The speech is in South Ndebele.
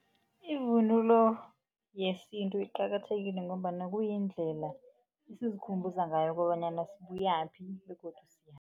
Ivunulo yesintu iqakathekile ngombana kuyindlela esizikhumbuza ngayo kobanyana sibuyaphi begodu